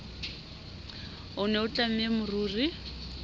o ne a tlamme moriri